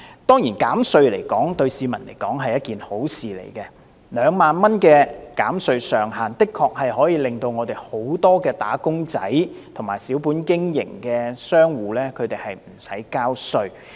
當然，減稅對市民來說，是一件好事 ，2 萬元的減稅上限，的確可以讓很多"打工仔"和小本經營的商戶無須交稅。